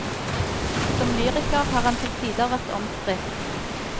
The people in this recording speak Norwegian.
Som lyriker har han til tider vært omstridt.